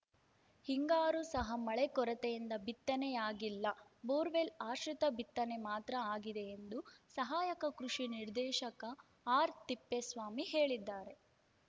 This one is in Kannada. ಹಿಂಗಾರು ಸಹ ಮಳೆ ಕೊರತೆಯಿಂದ ಬಿತ್ತನೆಯಾಗಿಲ್ಲ ಬೋರ್‌ವೆಲ್‌ ಆಶ್ರಿತ ಬಿತ್ತನೆ ಮಾತ್ರ ಆಗಿದೆ ಎಂದು ಸಹಾಯಕ ಕೃಷಿ ನಿರ್ದೇಶಕ ಆರ್‌ತಿಪ್ಪೇಸ್ವಾಮಿ ಹೇಳಿದ್ದಾರೆ